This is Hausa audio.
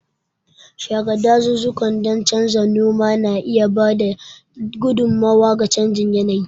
Share dazuzzukan don canza noma na iya ba da gudummawa ga canjin yanayi.